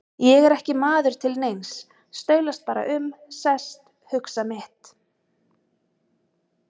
Ég er ekki maður til neins, staulast bara um, sest, hugsa mitt.